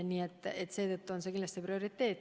Nii et kaitsevaldkond on kindlasti prioriteet.